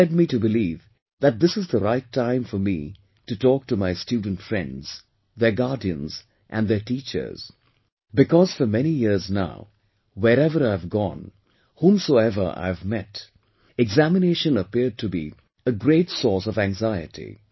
This led me to believe that this is the right time for me to talk to my student friends, their guardians and their teachers, because for many years now, wherever I have gone, whomsoever I have met, examination appeared to be a great source of anxiety